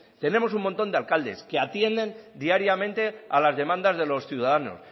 tenemos un montón de alcaldes que atienden diariamente a las demandas de los ciudadanos